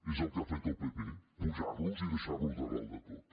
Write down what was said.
és el que ha fet el pp apujar los i deixar los a dalt de tot